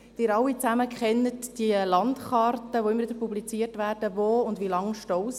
Sie alle kennen die Landkarten, die immer wieder publiziert werden und zeigen, wo und wie lange die Staus sind.